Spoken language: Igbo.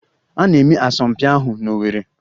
A na-eme asọmpi ahụ n'Owerri